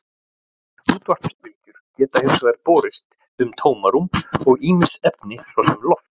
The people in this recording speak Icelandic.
Útvarpsbylgjur geta hins vegar borist um tómarúm og ýmis efni, svo sem loft.